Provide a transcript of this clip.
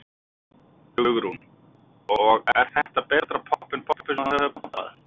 Hugrún: Og er þetta betra popp en poppið sem þú hefur poppað?